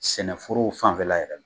Sɛnɛforow fanfɛla yɛrɛ